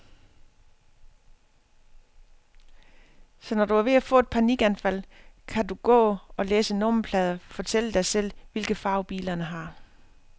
Så når du er ved at få et panikanfald, kan du gå og læse nummerplader, fortælle dig selv, hvilke farver bilerne har.